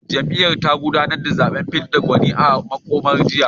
Jam’iyyar ta gudanar da zaben fidda gwaninta a makon jiya